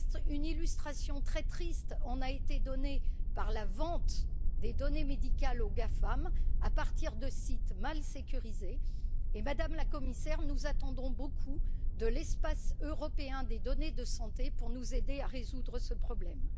Une illustration très triste en a été donnée par la vente des données médicales aux GAFAM à partir de sites mal sécurisés. Madame la Commissaire, nous attendons beaucoup de l'espace européen des données de santé pour nous aider à résoudre ce problème.